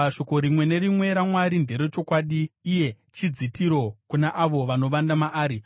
“Shoko rimwe nerimwe raMwari nderechokwadi; iye chidzitiro kuna avo vanovanda maari.